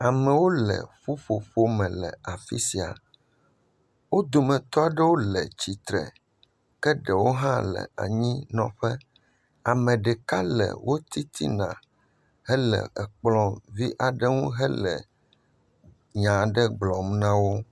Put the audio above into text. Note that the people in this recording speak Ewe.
Amewo le ƒuƒoƒo me le afi sia. Wo dometɔ aɖewo le tsitre ke ɖewo hã le anyinɔƒe. Ame ɖeka le wo titina hele ekplɔ vi aɖe ŋu hele nya gblɔm na wo.